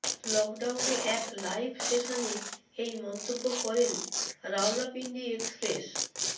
লকডাউনে এক লাইভ সেশনে এই মন্তব্য করেন রাওয়ালপিন্ডি এক্সপ্রেস